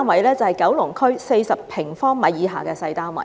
就是九龍區40平方米以下的小單位。